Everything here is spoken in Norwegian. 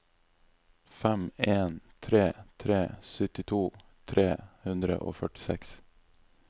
fem en tre tre syttito tre hundre og førtiseks